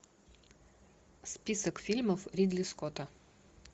список фильмов ридли скотта